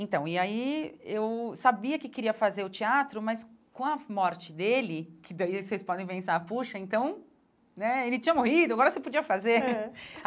Então, e aí eu sabia que queria fazer o teatro, mas com a morte dele, que daí vocês podem pensar, poxa, então né, ele tinha morrido, agora você podia fazer. É